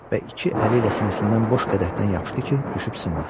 Və iki əli ilə sinəsindən boş qədəhdən yapışdı ki, düşüb sınmasın.